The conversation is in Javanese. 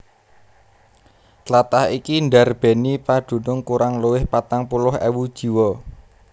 Tlatah iki ndarbèni padunung kurang luwih patang puluh ewu jiwa